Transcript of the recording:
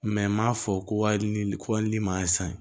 m'a fɔ ko wali ni koli man ɲi san